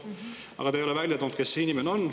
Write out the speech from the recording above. Aga te ei ole välja toonud, kes see inimene on.